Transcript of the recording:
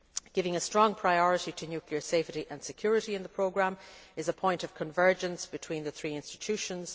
Giving a strong priority to nuclear safety and security in the programme is a point of convergence between the three institutions.